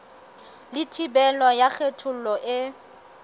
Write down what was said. le thibelo ya kgethollo e